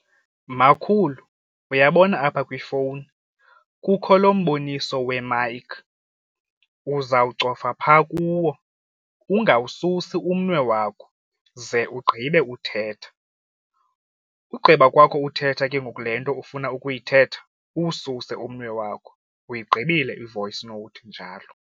Makhulu uyabona apha kwifowuni, kukho lo mboniso wemayikhi uzawucofa phaa kuwo ungawususi umnwe wabo ze ugqibe uthetha. Ugqiba kwakho uthetha ke ngoku le nto ufuna ukuyithetha uwususe umnwe wakho uyigqibile i-voice note njalo.